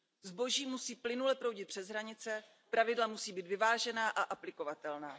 Zboží musí plynule proudit přes hranice, pravidla musí být vyvážená a aplikovatelná.